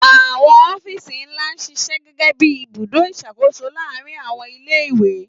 Àwọn ọ́fíìsì ńlá ń ṣiṣẹ́ gẹ́gẹ́ bí ibùdó ìṣàkóso láàárín àwọn ilé-ìwé.